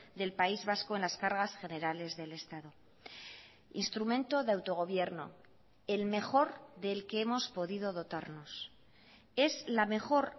del país vasco en las cargas generales del estado instrumento de autogobierno el mejor del que hemos podido dotarnos es la mejor